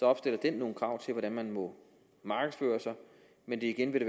opstiller den nogle krav til hvordan man må markedsføre sig men igen vil